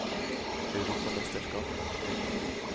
europamesterskapet